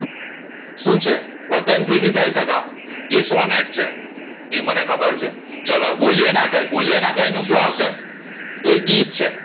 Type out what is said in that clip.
શું છે વતન થી વિદાય થા તા ઇ સોનેટ છે એ મને ખબર ચાલો બોલેએ ના કઈયે બોલેએ ના કઈયે શું આવશે તો એ ગીતા છે